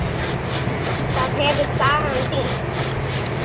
Það hefur sagan sýnt.